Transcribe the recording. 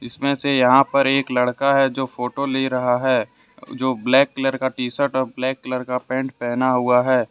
इसमें से यहां पर एक लड़का है जो फोटो ले रहा है जो ब्लैक कलर का टी_शर्ट और ब्लैक कलर का पैंट पहना हुआ है।